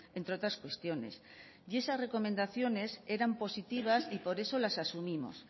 entre otras cuestiones y esas recomendaciones eran positivas y por eso las asumimos